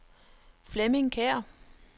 Flemming Kjær